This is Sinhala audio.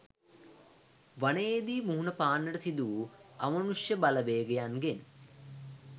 වනයේදි මුහුණ පාන්නට සිදුවූ අමනුෂ්‍ය බලවේගයන්ගෙන්